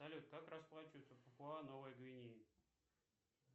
салют как расплачиваются в папуа новая гвинея